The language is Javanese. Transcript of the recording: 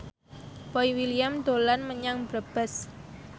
Boy William dolan menyang Brebes